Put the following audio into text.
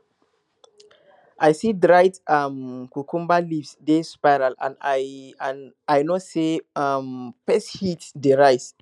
i see dried um cucumber leaves dey spiral and i and i know say um pest heat dey rise